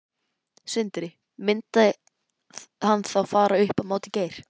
Sindri: Myndi hann þá fara upp á móti Geir?